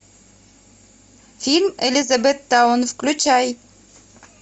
фильм элизабеттаун включай